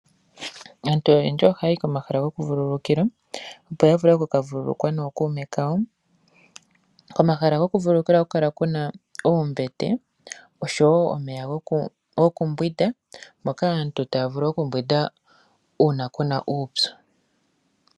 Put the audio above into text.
Aantu oyendji ohaya yi komahala gokuvululukilwa, opo ya vule okukavululukwa nookuume kawo. Komahala gokuvululukilwa ohaku kala ku na oombete noshowo omeya gokumbwinda, moka aantu taya vulu okumbwinda uuna ku na uupyu.